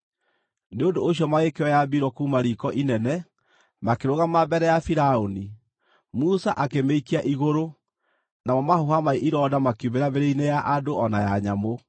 Nĩ ũndũ ũcio magĩkĩoya mbiro kuuma riiko inene, makĩrũgama mbere ya Firaũni. Musa akĩmĩikia igũrũ, namo mahũha ma ironda makiumĩra mĩĩrĩ-inĩ ya andũ o na ya nyamũ.